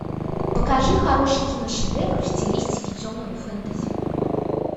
покажи хороший киношедевр в стилистике темного фэнтези